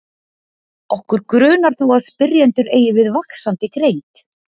Okkur grunar þó að spyrjendur eigi við vaxandi greind.